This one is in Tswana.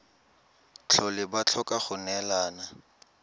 tlhole ba tlhoka go neelana